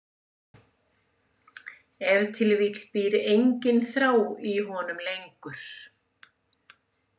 Ef til vill býr engin þrá í honum lengur.